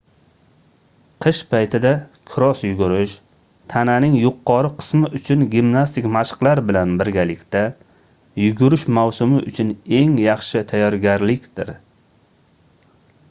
qish paytida kross yugurish tananing yuqori qismi uchun gimnastik mashqlar bilan birgalikda yugurish mavsumi uchun eng yaxshi tayyorgarlikdir